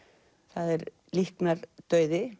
það er líknardauði